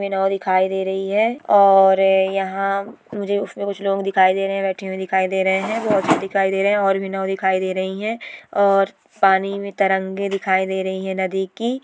हमें नाव दिखाई दे रही है और यहाँ मुझे उसमे कुछ लोग दिखाई दे रहे है बेठे हुए दिखाई दे रहे है बहुत से दिखाई दे रहे है और भी नाव दिखाई दे रही है और पानी में तरंगे दिखाई दे रहे है नदी की|